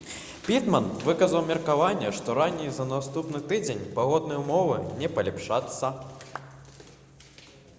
пітман выказаў меркаванне што раней за наступны тыдзень пагодныя ўмовы не палепшацца